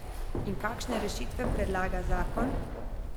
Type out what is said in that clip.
In kakšne rešitve predloga zakon?